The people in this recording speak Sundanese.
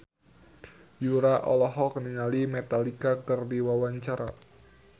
Yura olohok ningali Metallica keur diwawancara